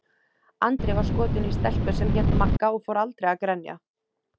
Andri var skotinn í stelpu sem hét Magga og fór aldrei að grenja.